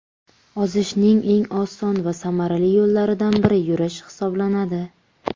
Ozishning eng oson va samarali yo‘llaridan biri yurish hisoblanadi.